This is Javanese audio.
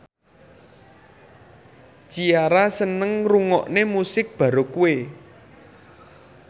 Ciara seneng ngrungokne musik baroque